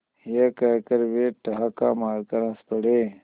यह कहकर वे ठहाका मारकर हँस पड़े